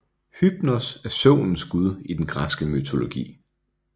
Hypnos er søvnens gud i den græske mytologi